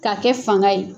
K'a kɛ fanga ye